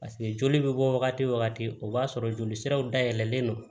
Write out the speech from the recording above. Paseke joli bɛ bɔ wagati o wagati o b'a sɔrɔ joli siraw dayɛlɛlen don